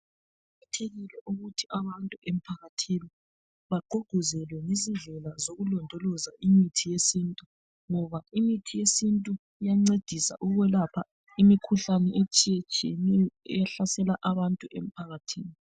Kuqakathekile ukuthi abantu émphakathini bagqugquzele izindlela zokulondoloza imithi yesintu ngoba imithi yesintu iyancedisa ukulapha imikhuhlane etshiyetshiyeneyo ehlasela abantu emphakathini.